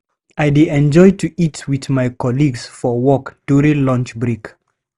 I dey enjoy to eat with my colleagues for work during lunch break.